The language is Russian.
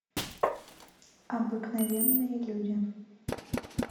обыкновенные люди